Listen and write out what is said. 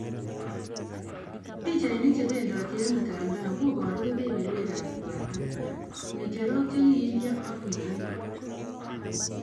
pichainik chebendoti ing mutandao kobaru kebeberwek ab koatok barak, ng'echerok che kiilyo ak puiywet.